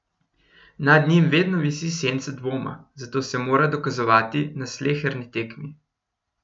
Nad njim vedno visi senca dvoma, zato se mora dokazovati na sleherni tekmi.